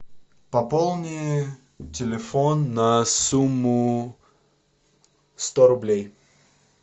пополни телефон на сумму сто рублей